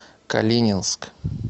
калининск